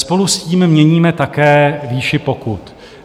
Spolu s tím měníme také výši pokut.